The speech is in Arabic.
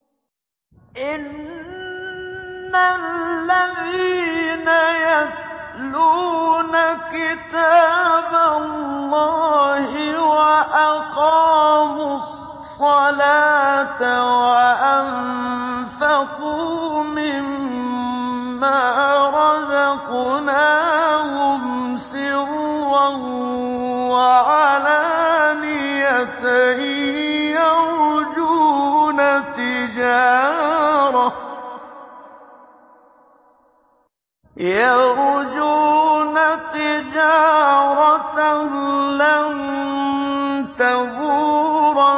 إِنَّ الَّذِينَ يَتْلُونَ كِتَابَ اللَّهِ وَأَقَامُوا الصَّلَاةَ وَأَنفَقُوا مِمَّا رَزَقْنَاهُمْ سِرًّا وَعَلَانِيَةً يَرْجُونَ تِجَارَةً لَّن تَبُورَ